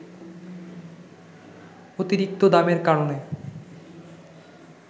অতিরিক্ত দামের কারণে